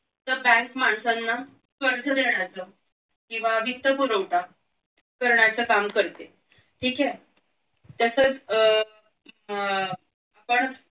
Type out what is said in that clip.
तर बँक माणसांना कर्ज देण्याचं किंवा वित्त पुरवठा करण्याचं काम करते ठीक आहे तसंच अह अह आपण